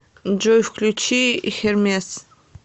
джой включи хермес